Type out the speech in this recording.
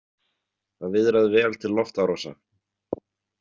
Það viðraði vel til loftárása.